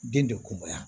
Den bɛ kunbaya